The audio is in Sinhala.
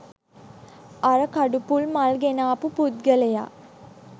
අර කඩුපුල් මල් ගෙනාපු පුද්ගලයා